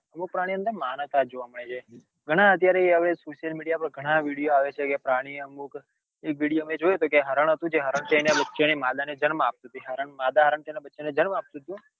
અમુક પ્રાણીઓ ની અંદર માનવતા જોવા મળે છે ઘણા અત્યારે હવે social media પર ઘણા vide આવે છે પ્રાણી અમુક એક વિડિઓ મેં જોયો તો હરણ હતું જે હરણ એના બચ્ચાં માદા ને જન્મ આપતું હતું માદા હરણ તેના બચ્ચાં ને જન્મ આપતું હતું